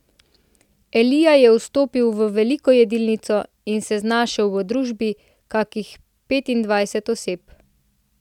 Elija je vstopil v veliko jedilnico in se znašel v družbi kakih petindvajsetih oseb.